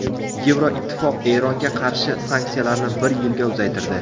Yevroittifoq Eronga qarshi sanksiyalarni bir yilga uzaytirdi.